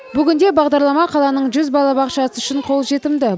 бүгінде бағдарлама қаланың жүз балабақшасы үшін қолжетімді